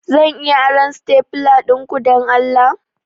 Zan iya aron stapler dinku, don Allah?